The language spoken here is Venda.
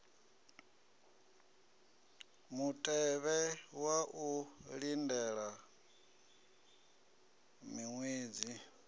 mutevhe wa u lindela miṅwedzi